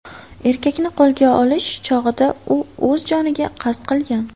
Erkakni qo‘lga olish chog‘ida u o‘z joniga qasd qilgan .